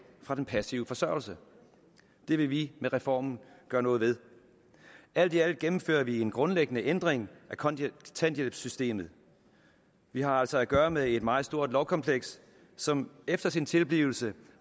fra den passive forsørgelse det vil vi med reformen gøre noget ved alt i alt gennemfører vi en grundlæggende ændring af kontanthjælpssystemet vi har altså at gøre med et meget stort lovkompleks som efter sin tilblivelse